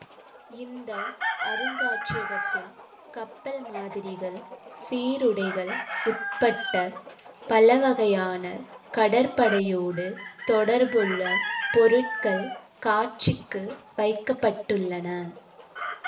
இந்த அருங்காட்சியகத்தில் கப்பல் மாதிரிகள் சீருடைகள் உட்பட்ட பலவகையான கடற்படையோடு தொடர்புள்ள பொருட்கள் காட்சிக்கு வைக்க பட்டுள்ளன